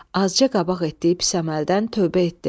Azca qabaq etdiyi pis əməldən tövbə etdi.